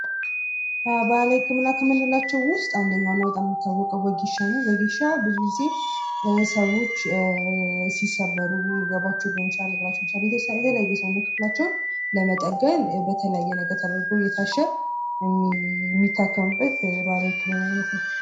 ባህላዊ ህከምና ከምንላቸዉ ዉስጥ አንደኛዉ እና በጣም የሚታወቀዉ ወጌሻ አንዱ ነዉ። ወጌሻ ብዙ ጊዜ ሲሰበሩ ወገባቸዉን የተለያየ የሰዉነት ክፍላቸዉን እየታሸ የሚጠገንበት ነዉ።